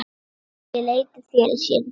Svo mælti ég og létu þeir sér þetta segjast.